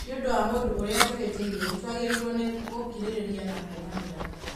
Nĩ ũndũ wa mũndũ ũrĩa tũhĩtĩirie, nĩ twagĩrĩirũo nĩ gũkirĩrĩria na kuohanĩra